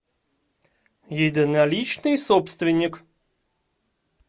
единоличный собственник